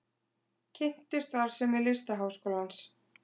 Kynntu starfsemi Listaháskólans